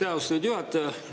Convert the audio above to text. Aitäh, austatud juhataja!